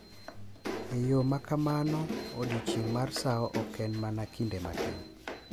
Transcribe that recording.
E yo ma kamano, Odiechieng’ mar sawo ok en mana kinde matin .